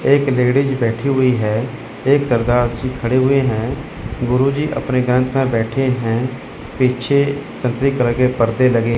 एक लेडीज बैठी हुई है एक सरदार जी खड़े हुए हैं गुरुजी अपने बैठे हैं पीछे संतरी कलर के पर्दे लगे--